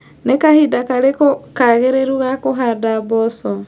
Nĩ kahinda karĩkũ kagĩrĩru ga kũhanda mboco.